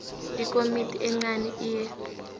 ikomiti encani iye